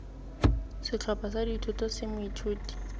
setlhopha sa dithuto tse moithuti